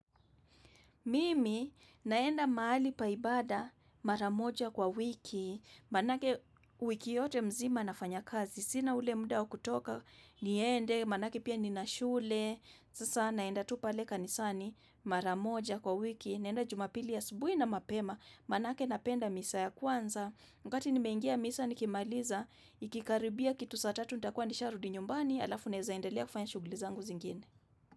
Mimi naenda mahali pa ibada mara moja kwa wiki, maanake wiki yote mzima nafanya kazi, sina ule muda wa kutoka, niende, maanake pia nina shule, sasa naenda tu pale kanisani mara moja kwa wiki, naenda jumapili asubuhi na mapema, maanake napenda misa ya kwanza. Wakati nimeingia misa nikimaliza, ikikaribia kitu saa tatu, nitakuwa nisharudi nyumbani, alafu naeza endelea kufanya shughuli zangu zingine.